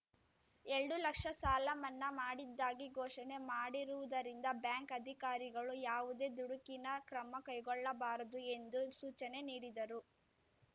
ಎಲ್ಡು ಲಕ್ಷ ಸಾಲ ಮನ್ನಾ ಮಾಡಿದ್ದಾಗಿ ಘೋಷಣೆ ಮಾಡಿರುವುದರಿಂದ ಬ್ಯಾಂಕ್‌ ಅಧಿಕಾರಿಗಳು ಯಾವುದೇ ದುಡುಕಿನ ಕ್ರಮ ಕೈಗೊಳ್ಳಬಾರದು ಎಂದು ಸೂಚನೆ ನೀಡಿದರು